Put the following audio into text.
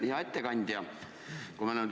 Hea ettekandja!